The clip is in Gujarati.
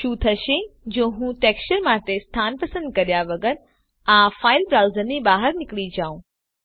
શું થશે જો હું ટેક્સચર્સ માટે સ્થાન પસંદ કર્યા વગર આ ફાઈલ બ્રાઉઝરની બહાર નીકળી જાઉં